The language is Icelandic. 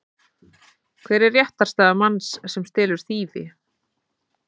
Hver er réttarstaða manns sem stelur þýfi?